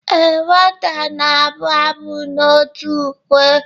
ee, nwata na-abụ abụ n'òtù ukwe